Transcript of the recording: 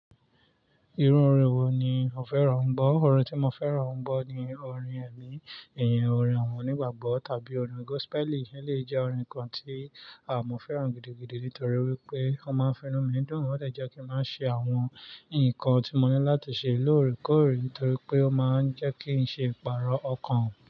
Irun orin wo ni o fẹ́ràn ń gbọ́? Orin tí mo fẹ́ràn ń gbọ́ ni orin ẹ̀mí, ìyẹn orin àwọn onígbàgbọ́ tàbí orin gospel. Eléyìí jẹ́ orin kan tí àh mọ́ fẹ́ràn gidigidi nítorí wípé ó máa ń fínú mi dùn. Ó dẹ̀ jẹ́ kí n má ṣe àwọn ǹkan tí mo ní láti ṣe lóòrèkóòrè torí pé ó má ń jẹ́ kí ń ṣe ìpààrọ̀ ọkàn.